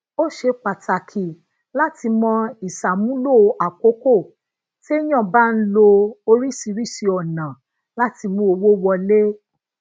ó ṣe pàtàkì láti mo isamulo àkókò teyan bá ń lo oríṣiríṣi ònà lati mu owó wole